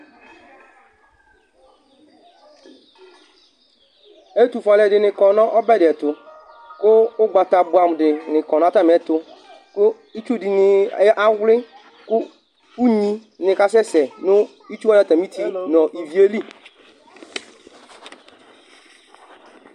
Ɛtʋfʋe alʋɛdìní kɔ nʋ ɔbɛ di tu kʋ ugbata bʋamu di ni kɔ nʋ atami ɛtu kʋ itsu dìní awli kʋ ʋnyi ni kasɛsɛ nʋ itsu wani atami ʋti nʋ ívì yɛ li